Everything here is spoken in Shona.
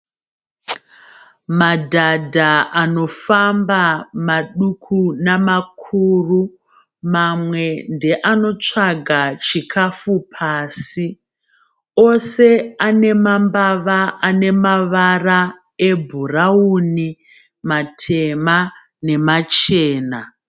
Madhadha anofamba maduku namakuru. Mamwe ndoanotsvaga chikafu pasi. Ose anemambava anemavara ebhurawuni, matema nemachena.